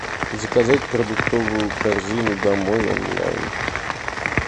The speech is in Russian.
заказать продуктовую корзину домой онлайн